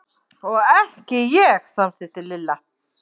Og ekki ég! samsinnti Lilla.